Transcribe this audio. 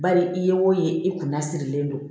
Bari i ye wo ye i kunna sirilen don